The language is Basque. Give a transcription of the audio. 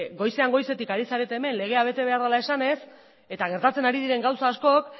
goizean goizetik ari zarete hemen legea bete behar dela esanez eta gertatzen ari diren gauza askok